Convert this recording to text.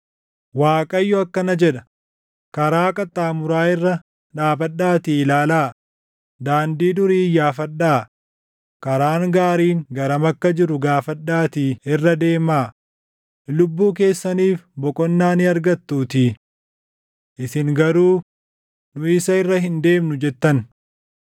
Waaqayyo akkana jedha: “Karaa qaxxaamuraa irra dhaabadhaatii ilaalaa; daandii durii iyyaafadhaa; karaan gaariin garam akka jiru gaafadhaatii irra deemaa; lubbuu keessaniif boqonnaa ni argattuutii. Isin garuu, ‘Nu isa irra hin deemnu’ jettan.